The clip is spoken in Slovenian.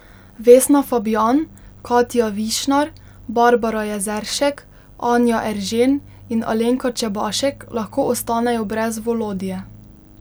Vesna Fabjan, Katja Višnar, Barbara Jezeršek, Anja Eržen in Alenka Čebašek lahko ostanejo brez Volodje.